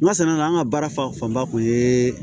N ma sɛnɛ la an ka baara fanba kun ye